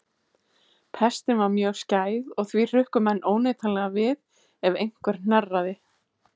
Pestin var mjög skæð og því hrukku menn óneitanlega við ef einhver hnerraði.